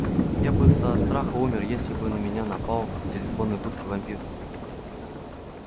я бы со страха умер если бы на меня напал в телефонной будке вампир